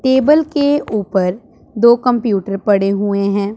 Table के ऊपर दो कंप्यूटर पड़े हुए हैं।